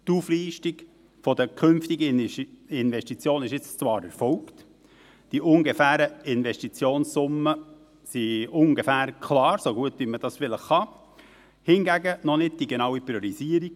Die Auflistung der künftigen Investitionen ist jetzt zwar erfolgt, die ungefähren Investitionssummen sind in etwa klar, so gut man diese vielleicht klären kann, hingegen noch nicht die genaue Priorisierung.